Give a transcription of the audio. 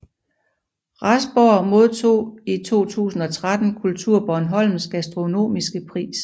Rasborg modtog i 2013 KulturBornholms gastronomiske pris